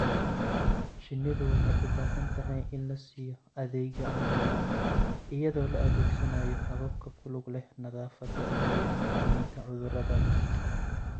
Shinnidu waxay u baahan tahay in la siiyo adeegyo caafimaad iyadoo la adeegsanayo hababka ku lug leh nadaafadda iyo xakamaynta cudurrada.